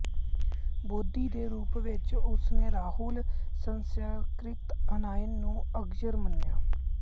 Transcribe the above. ਬੋਧੀ ਦੇ ਰੂਪ ਵਿੱਚ ਉਸ ਨੇ ਰਾਹੁਲ ਸਾਂਕ੍ਰਿਤਿਆਇਨ ਨੂੰ ਅਗਰਜ ਮੰਨਿਆ